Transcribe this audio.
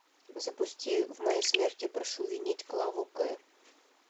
запусти в моей смерти прошу винить клаву к